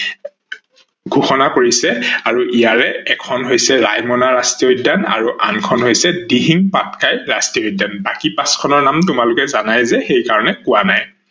ঘোষনা কৰিছে। আৰু ইয়াৰে এখন হৈছে ৰাইমনা ৰাষ্ট্ৰীয় উদ্যান আৰু আন খন হৈছে দিহিং পাটকাই ৰাষ্ট্ৰীয় উদ্যান। বাকী পাচ খনৰ নাম তোমালোকে জানাই যে সেইকাৰনে কোৱা নাই।